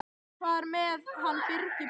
Hvað er með hann Birgi Björn?